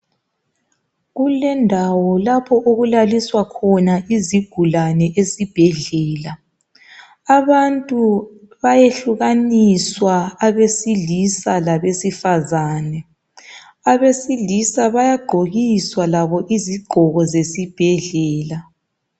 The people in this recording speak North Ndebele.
kulendawo lapho okulalwiswa khona izigulane esibhedlela abantu bayehlukaniswa abaselisa labesifazane abesilisa baygqokiswa labo izigqoko zesbhedlela.